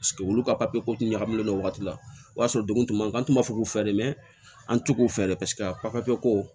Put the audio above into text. olu ka papiye ko tun ɲagamilen no wagati la o y'a sɔrɔ degun tun b'an kan an tun b'a fɔ k'u fɛ dɛ mɛ an tɛ k'u fɛ dɛ paseke a papiye ko